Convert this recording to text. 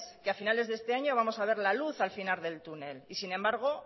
que a finales de este año vamos a ver la luz al final del túnel y sin embargo